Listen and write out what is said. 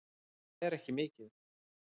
En það er ekki mikið.